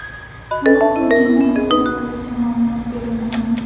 Halok bo‘lganlar haqida hozircha ma’lumot berilmagan.